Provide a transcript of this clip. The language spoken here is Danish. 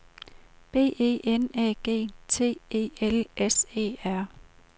B E N Æ G T E L S E R